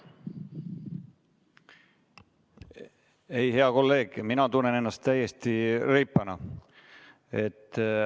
Ei, hea kolleeg, mina tunnen ennast täiesti reipana.